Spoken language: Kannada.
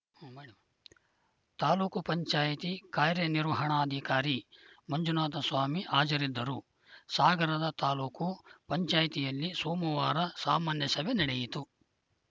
ತಾಲೂಕು ಪಂಚಾಯ್ತಿ ಕಾರ್ಯನಿರ್ವಹಣಾಧಿಕಾರಿ ಮಂಜುನಾಥ ಸ್ವಾಮಿ ಹಾಜರಿದ್ದರು ಸಾಗರದ ತಾಲೂಕು ಪಂಚಾಯ್ತಿಯಲ್ಲಿ ಸೋಮವಾರ ಸಾಮಾನ್ಯಸಭೆ ನಡೆಯಿತು